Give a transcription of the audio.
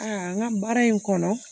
n ka baara in kɔnɔ